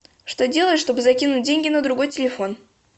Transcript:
что делать чтобы закинуть деньги на другой телефон